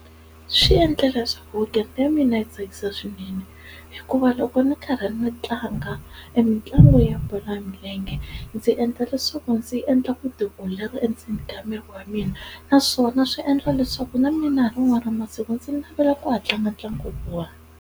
Swi endle leswaku weekend ya mina yi tsakisa swinene hikuva loko ni karhi ni tlanga e mitlangu ya bolo ya milenge ndzi endla leswaku ndzi endla vutiolori endzeni ka miri wa mina naswona swi endla leswaku na mina hi rin'wana ra masiku ndzi navela ku ya tlanga tlanga .